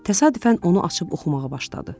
Təsadüfən onu açıb oxumağa başladı.